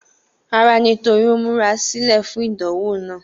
Rárá, nítorí ó múra sílẹ̀ fún ìdánwò náà.